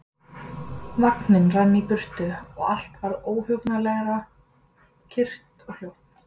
Vagninn rann í burtu og allt varð óhugnanlega kyrrt og hljótt.